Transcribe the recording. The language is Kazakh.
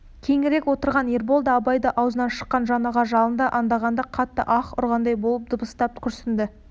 кейінірек отырған ербол да абай аузынан шыққан жаңағы жалынды аңдағанда қатты аһ ұрғандай болып дыбыстап күрсінді